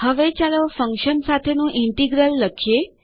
હવે ચાલો ફંક્શન સાથેનું ઇન્ટિગ્રલ લખીએ